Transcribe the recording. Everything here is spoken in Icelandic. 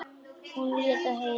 Hún leit á Heiðu.